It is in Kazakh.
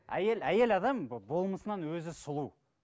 әйел әйел адам болмысынан өзі сұлу